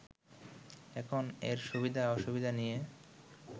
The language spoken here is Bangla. এখন এর সুবিধা অসুবিধা নিয়ে